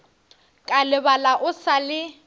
ka lebala o sa le